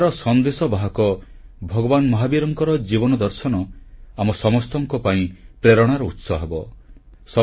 ଅହିଂସାର ସଂଦେଶବାହକ ଭଗବାନ ମହାବୀରଙ୍କ ଜୀବନ ଦର୍ଶନ ଆମ ସମସ୍ତଙ୍କ ପାଇଁ ପ୍ରେରଣାର ଉତ୍ସ ହେବ